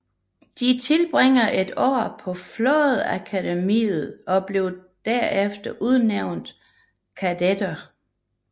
De tilbringer et år på flådeakademiet og bliver derefter udnævnt kadetter